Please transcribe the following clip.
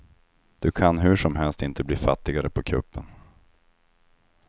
Du kan hur som helst inte bli fattigare på kuppen.